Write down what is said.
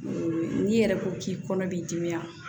N'i yɛrɛ ko k'i kɔnɔ b'i dimi wa